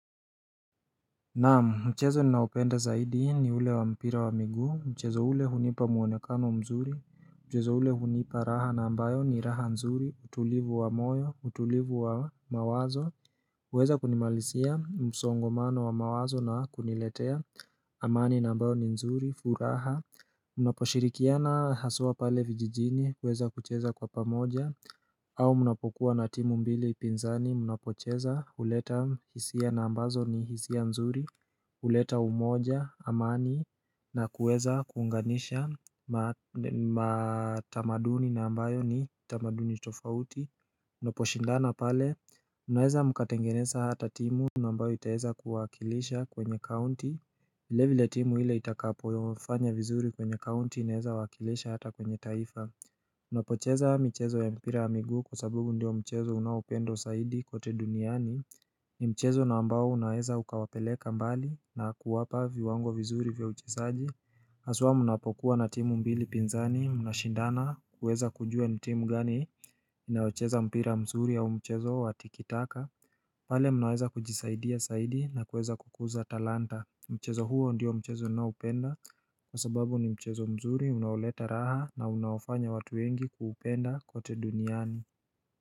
Naam mchezo ninaopenda zaidi ni ule wa mpira wa miguu, mchezo ule hunipa muonekano mzuri, mchezo ule hunipa raha na ambayo ni raha nzuri, utulivu wa moyo, utulivu wa mawazo huweza kunimalisia msongomano wa mawazo na kuniletea, amani na ambayo ni nzuri, furaha Unaposhirikiana haswa pale vijijini kuweza kucheza kwa pamoja au mnapokuwa na timu mbili upinzani mnapocheza huleta hisia na ambazo ni hisia mzuri huleta umoja amani na kuweza kuunganisha matamaduni na ambayo ni tamaduni tofauti Unaposhindana pale unaweza mkatengeneza hata timu na ambayo itaweza kuwakilisha kwenye kaunti vile vile timu ile itakapofanya vizuri kwenye kaunti inaweza wakilisha hata kwenye taifa Unapocheza mchezo ya mpira ya miguu kwa sababu ndio mchezo unaopendwa zaidi kote duniani ni mchezo na ambao unaeza ukawapeleka mbali na kuwapa viwango vizuri vya uchezaji haswa mnapokuwa na timu mbili pinzani mnashindana kuweza kujua ni timu gani inayocheza mpira mzuri au mchezo wa tikitaka pale mnaweza kujisaidia zaidi na kuweza kukuza talanta Mchezo huo ndiyo mchezo naupenda kwa sababu ni mchezo mzuri unaoleta raha na unaofanya watu wengi kuupenda kote duniani.